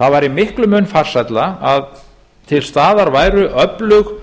það væri miklum mun farsælla að til staðar væru öflug